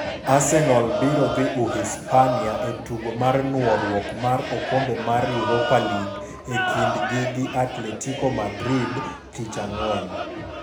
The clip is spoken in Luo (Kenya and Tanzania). Arsenal biro dhi Uhispania e tugo mar nuoruok mar okombe mar Europa League e kindgi gi Atletico Madrid tich ang'wen.